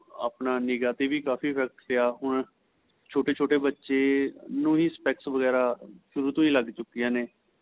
ਆਪਣੀ ਨਿਗਾਂ ਤੇ ਵੀ ਕਾਫ਼ੀ effect ਪਇਆ ਹੁਣ ਛੋਟੇ ਛੋਟੇ ਬੱਚੇ ਨੂੰ ਹੀ specks ਵਗੇਰਾ ਸ਼ੁਰੂ ਤੋ ਹੀ ਲੱਗ ਚੁੱਕੀਆ ਨੇ